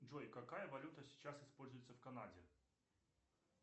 джой какая валюта сейчас используется в канаде